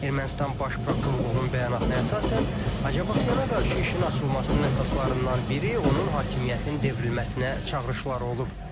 Ermənistan baş prokurorluğunun bəyanatına əsasən, Acapaxyana qarşı işin açılmasının əsaslarından biri onun hakimiyyətin devrilməsinə çağırışları olub.